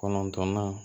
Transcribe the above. Kɔnɔntɔnnan